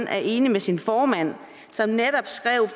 er enig med sin formand som netop